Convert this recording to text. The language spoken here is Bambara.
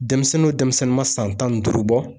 Denmisɛnninw o denmisɛnnin ma san tan ni duuru bɔ